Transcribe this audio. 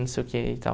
Não sei o quê e tal.